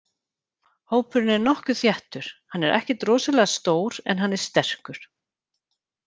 Hópurinn er nokkuð þéttur, hann er ekkert rosalega stór en hann er sterkur.